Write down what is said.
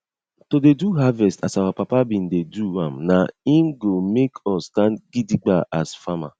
to dey do harvest as our papa bin dey do am na en go make us stand gidigba as farmer